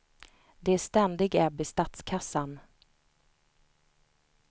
Det är ständig ebb i statskassan.